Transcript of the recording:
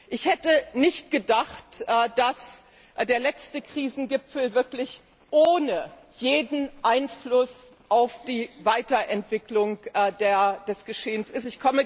Ich hätte nicht gedacht, dass der letzte Krisengipfel wirklich ohne jeden Einfluss auf die Weiterentwicklung des Geschehens ist.